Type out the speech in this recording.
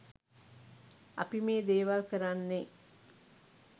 අපි මේ දේවල් කරන්නේ